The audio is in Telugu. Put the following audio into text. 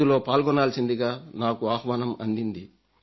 అందులో పాల్గొనాల్సిందిగా నాకు ఆహ్వానం అందింది